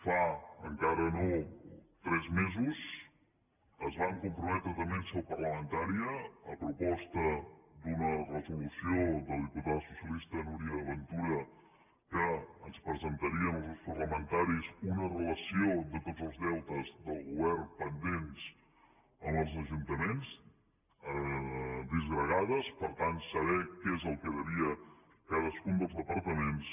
fa encara no tres mesos que es van comprometre també en seu parlamentària a proposta d’una resolució de la diputada socialista núria ventura que ens presentarien als grups parlamentaris una relació de tots els deutes del govern pendents amb els ajuntaments disgregats per tant saber què és el que devia cadascun dels departaments